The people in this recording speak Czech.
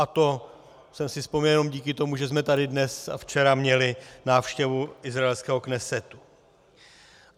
A to jsem si vzpomněl jenom díky tomu, že jsme tady dnes a včera měli návštěvu izraelského Knesetu.